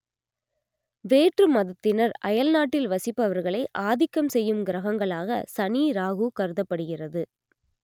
வேற்று மதத்தினர் அயல்நாட்டில் வசிப்பர்களை ஆதிக்கம் செய்யும் கிரகங்களாக சனி ராகு கருதப்படுகிறது